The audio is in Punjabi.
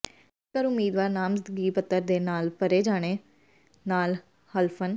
ਜੇਕਰ ਉਮੀਦਵਾਰ ਨਾਮਜ਼ਦਗੀ ਪੱਤਰ ਦੇ ਨਾਲ ਭਰੇ ਜਾਣ ਨਾਲੇ ਹਲਫਨ